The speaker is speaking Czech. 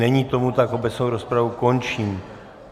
Není tomu tak, obecnou rozpravu končím.